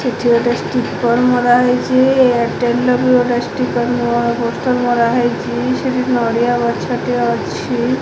ସେଠି ଗୋଟେ ଷ୍ଟିକର ମରା ହେଇଚି ଏୟାରଟେଲ ର ବି ଗୋଟେ ଷ୍ଟିକର ମ ପୋଷ୍ଟର ମରା ହେଇଚି ସେଠି ନଡିଆ ଗଛଟେ ଅଛି।